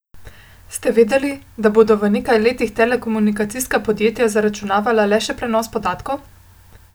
Ste vedeli, da bodo v nekaj letih telekomunikacijska podjetja zaračunavala le še prenos podatkov?